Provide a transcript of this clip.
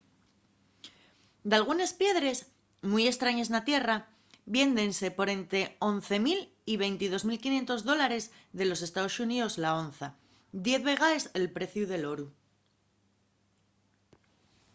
dalgunes piedres mui estrañes na tierra viéndense por ente 11 000 y 22 500 dólares de los estaos xuníos la onza diez vegaes el preciu del oru